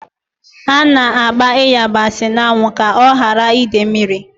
A na-agba ịyabasị n'anwụ ka ọ ghara ide mmiri.